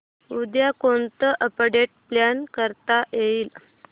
उद्या कोणतं update plan करता येईल